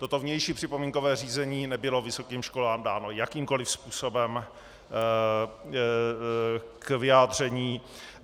Toto vnější připomínkové řízení nebylo vysokým školám dáno jakýmkoliv způsobem k vyjádření.